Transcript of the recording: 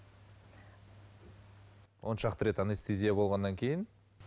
оншақты рет анестезия болғаннан кейін